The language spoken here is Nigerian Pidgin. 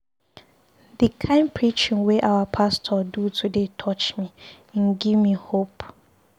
The kin preaching wey our pastor do today touch me, im give me hope.